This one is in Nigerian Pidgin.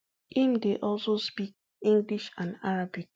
im dey also speak english and arabic